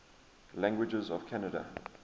languages of canada